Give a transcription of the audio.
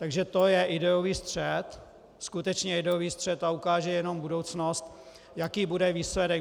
Takže to je ideový střet, skutečně ideový střet, a ukáže jenom budoucnost, jaký bude výsledek.